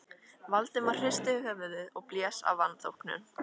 Valdimar hristi höfuðið og blés af vanþóknun.